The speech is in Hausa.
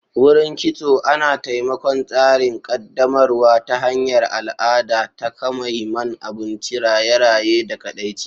Wurin Kitso Ana taimakon tsarin ƙaddamarwa ta hanyar al'ada, takamaiman abinci, raye-raye, da kaɗaici.